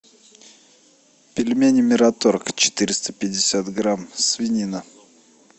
пельмени мираторг четыреста пятьдесят грамм свинина